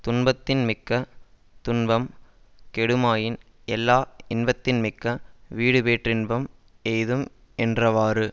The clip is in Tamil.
துன்பத்தின் மிக்க துன்பம் கெடுமாயின் எல்லா இன்பத்தின் மிக்க வீடு பேற்றின்பம் எய்தும் என்றவாறு